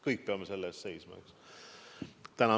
Kõik me peame selle eest seisma.